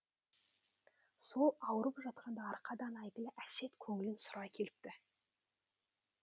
сол ауырып жатқанда арқадан әйгілі әсет көңілін сұрай келіпті